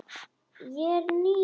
Ég er ný.